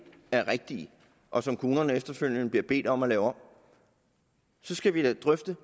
er rigtige og som kommunerne efterfølgende bliver bedt om at lave om så skal vi da drøfte